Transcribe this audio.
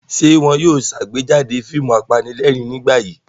Ṣé wọn yóò ṣàgbéjáde fíìmù apanílẹ̀rín nígbà yìí?